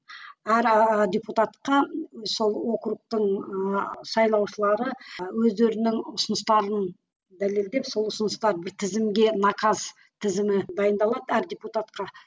депутатқа сол округтің ыыы сайлаушылары өздерінің ұсыныстарын дәлелдеп сол ұсыныстарды бір тізімге наказ тізімі дайындалады әр депутатқа